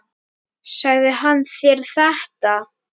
Sagði hann þér þetta?